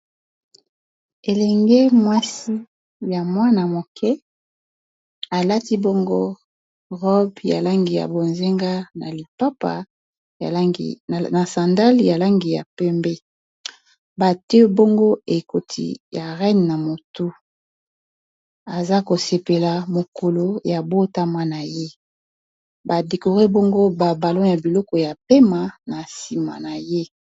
Elenge mwasi ya mwana moke a lati bongo robe ya langi ya bozenga, na lipapa na sandale ya langi ya pembe . Ba tié bongo ekoti ya reine na motu aza ko sepela mokolo ya botama na ye . Ba décorer bongo ba balons ya biloko ya pema na sima na ye .